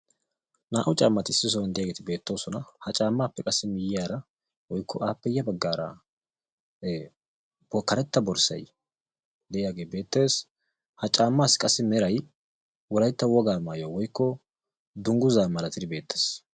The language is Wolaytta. Naa"u caammati issi sohuwaan de'iyaageti beettoosona. ha caammappe qassi miyiyaara wooykko appe ya baggaara karetta borssay de'iyaagee beettees. ha caammaassi qassi meray wolaytta wogaa maayuwaa woykko dunguzaa malattidi beettees.